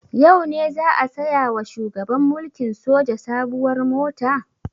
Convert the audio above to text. Yau ne za a saya wa shugaban mulkin soja sabuwar mota?